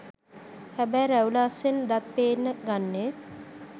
හැබැයි රැවුල අස්සෙන් දත් පේන්න ගන්නෙ